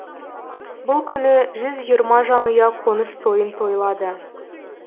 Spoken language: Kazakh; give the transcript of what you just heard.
бұл күні жүз жиырма жанұя қоныс тойын тойлады